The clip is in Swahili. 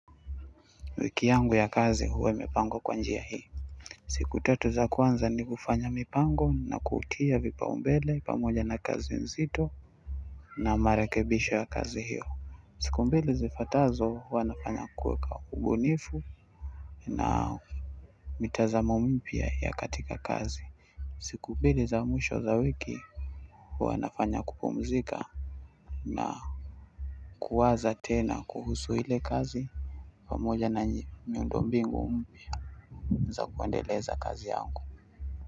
Wiki yangu ya kazi huwa imepangwa kwa njia hii siku tatu za kwanza ni kufanya mipango na kuutia vipaumbele pamoja na kazi nzito na marekebisho ya kazi hiyo siku mbili zifuatazo huwa nafanya kuweka ubunifu na mitazamo mpya ya katika kazi siku mbili za mwisho za wiki huwa nafanya kupumzika na kuwaza tena kuhusu ile kazi pamoja na miundombinu. Za kuendeleza kazi yangu.